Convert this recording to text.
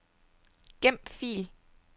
Gem fil.